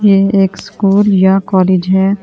ये एक स्कूल या कालेज हैं ।